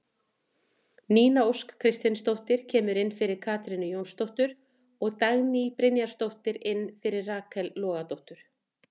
Nína Ósk Kristinsdóttir kemur inn fyrir Katrínu Jónsdóttur og Dagný Brynjarsdóttir inn fyrir Rakel Logadóttur.